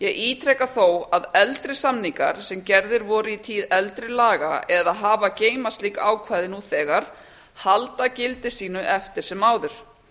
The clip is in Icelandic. ítreka þó að eldri samningar sem gerðir voru í tíð eldri laga eða hafa að geyma slík ákvæði nú þegar halda gildi sínu eftir sem áður